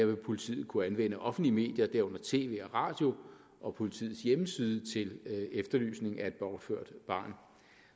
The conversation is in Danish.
vil politiet kunne anvende offentlige medier herunder tv og radio og politiets hjemmeside til efterlysning af et bortført barn